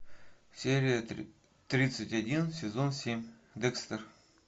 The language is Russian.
серия тридцать один сезон семь декстер